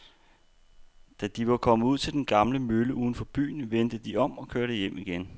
Da de var kommet ud til den gamle mølle uden for byen, vendte de om og kørte hjem igen.